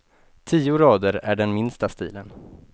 Tio rader är den, minsta stilen.